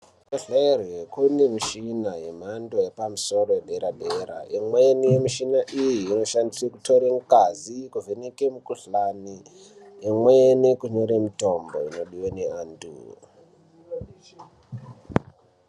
Kuzvibehlera kune mishina yemhando yepamusoro yedera dera, imweni yemushina iyi inoshandiswa kutora ngazi yekuvheneka mukuhlani, imweni kunyore mitombo inodiwa neanthu.